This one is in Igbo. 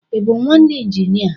I bụ nwanne injinia?